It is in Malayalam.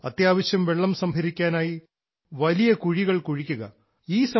അത്യാവശ്യം വെള്ളം സംഭരിക്കാനായി വലിയ കുഴികൾ കുഴിക്കുക